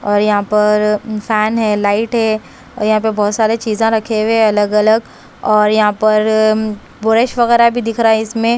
और यहां पर इंसान है लाइट है और यहां पर बहोत सारे चीजा रखे हुए हैं अलग अलग और यहां पर बोरस वगैरा भी दिख रहा इसमे--